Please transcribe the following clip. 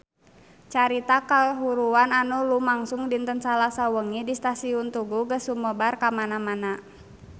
Carita kahuruan anu lumangsung dinten Salasa wengi di Stasiun Tugu geus sumebar kamana-mana